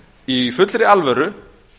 í fullri alvöru